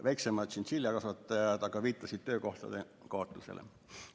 Väiksemad ettevõtjad, tšintšiljakasvatajad aga viitasid töökohtade kaotusele.